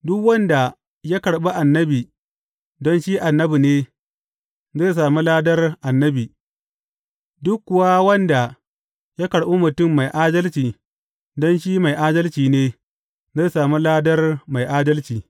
Duk wanda ya karɓi annabi don shi annabi ne, zai sami ladar annabi, duk kuwa wanda ya karɓi mutum mai adalci don shi mai adalci ne, zai sami ladar mai adalci.